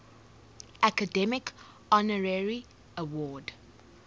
academy honorary award